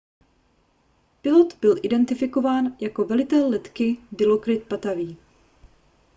pilot byl identifikován jako velitel letky dilokrit pattavee